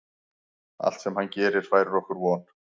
Allt sem hann gerir færir okkur von.